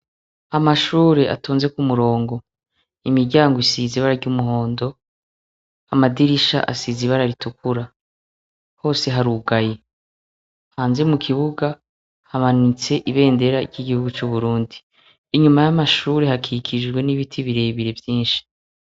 Amashure atonze kumurongo, imiryango isiza ibara ry'umuhondo, amadirisha asiza ibara ritukura, hose harugaye, hanzie mu kibuga hamanitse ibendera ry'igihugu c'uburundi, inyuma y'amashure hakikishijwe n'ibiti birebire vyinshi.